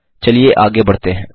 चलिए आगे बढ़ते हैं